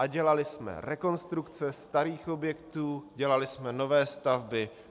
A dělali jsme rekonstrukce starých objektů, dělali jsme nové stavby.